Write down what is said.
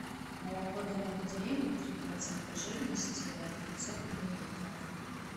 молоко домик в деревне три процента жирности пятьсот миллилитров